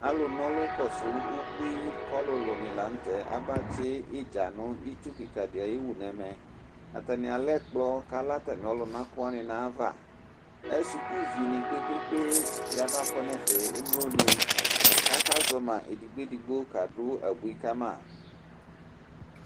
alò n'ɔlu kɔsu ubui k'ɔlòlò ni lantɛ aba tsi idza no itsu keka di ayi wu n'ɛmɛ atani alɛ ɛkplɔ k'alɛ atami ɔluna kò wani n'ayi ava suku vi ni kpe kpe kpe ni aba kɔ n'ɛfɛ emlo ni k'aka zɔ ma edigbo edigbo ka du abui ka ma.